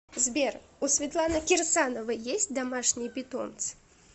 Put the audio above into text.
сбер у светланы кирсановой есть домашние питомцы